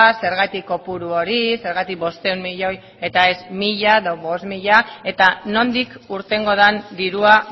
zergatik kopuru hori zergatik bostehun milioi eta ez mila edo bost mila eta nondik irtengo den dirua